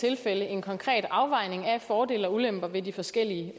tilfælde en konkret afvejning af fordele og ulemper ved de forskellige